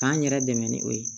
K'an yɛrɛ dɛmɛ ni o ye